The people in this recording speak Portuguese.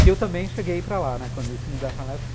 que eu também cheguei a ir para lá, né, quando eles se mudaram